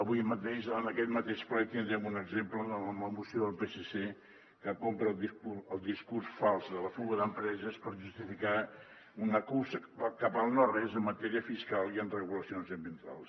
avui mateix en aquest mateix ple tindrem un exemple amb la moció del psc que compra el discurs fals de la fuga d’empreses per justificar una cursa cap al nores en matèria fiscal i en regulacions ambientals